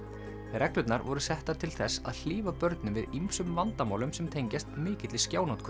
reglurnar voru settar til þess að hlífa börnum við ýmsum vandamálum sem tengjast mikilli